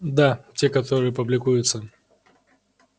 да те которые публикуются